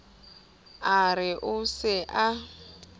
a re o se a